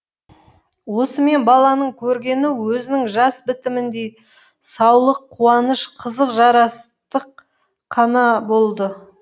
осымен баланың көргені өзінің жас бітіміндей саулық қуаныш қызық жарастық қана болды